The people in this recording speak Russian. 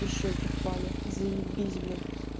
и щёки впали заебись блин